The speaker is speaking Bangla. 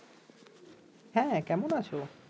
হ্যাঁ কেমন আছো?